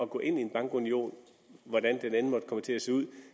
gå ind i en bankunion hvordan den end måtte komme til at se ud